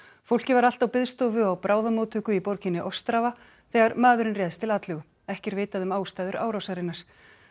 fólkið var allt á biðstofu á bráðamóttöku í borginni ostrava þegar maðurinn réðst til atlögu ekki er vitað um ástæður árásarinnar